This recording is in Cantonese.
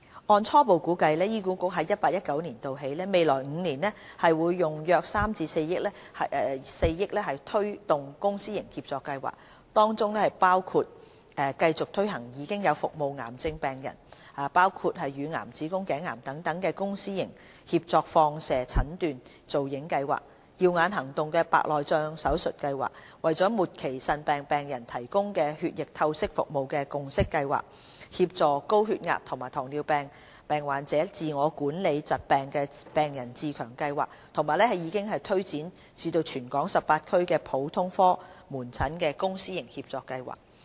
按初步估計，醫管局在 2018-2019 年度起，未來5年每年會用約3億元至4億元推動公私營協作計劃，當中包括繼續推行現有服務癌症病人，包括患上乳癌、子宮頸癌等病人的公私營協作放射診斷造影計劃、"耀眼行動"白內障手術計劃、為末期腎病病人提供血液透析服務的"共析計劃"、協助高血壓及糖尿病患者自我管理疾病的病人自強計劃，以及已經推展至全港18區的普通科門診公私營協作計劃。